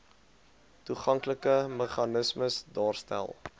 toeganklike meganismes daarstel